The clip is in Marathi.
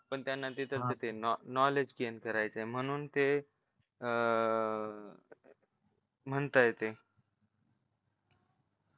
पण त्यांना तिथलं ते knowledge gain करायचंय म्हणून ते अह म्हणताय ते